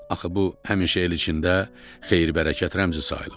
Axı bu həmişə el içində xeyir-bərəkət rəmzi sayılıb.